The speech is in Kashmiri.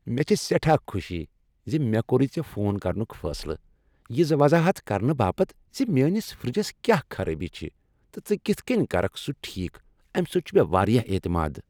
مےٚ چھ سیٹھاہ خوشی زِ مےٚ کوٚرُے ژے فون کرنُک فیصلہٕ یہ وضاحت کرنہ باپت ز میٲنس فرجس كیاہ خرٲبی چھِ تہٕ ژٕ كِتھ كٕنۍ كركھ سُہ ٹھیكھ امہ سۭتۍ چُھ مے وارِیاہ اعتماد۔